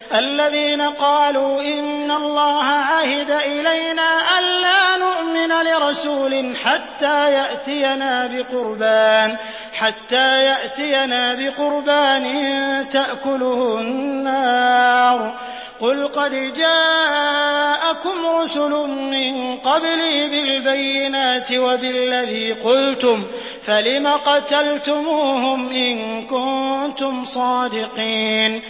الَّذِينَ قَالُوا إِنَّ اللَّهَ عَهِدَ إِلَيْنَا أَلَّا نُؤْمِنَ لِرَسُولٍ حَتَّىٰ يَأْتِيَنَا بِقُرْبَانٍ تَأْكُلُهُ النَّارُ ۗ قُلْ قَدْ جَاءَكُمْ رُسُلٌ مِّن قَبْلِي بِالْبَيِّنَاتِ وَبِالَّذِي قُلْتُمْ فَلِمَ قَتَلْتُمُوهُمْ إِن كُنتُمْ صَادِقِينَ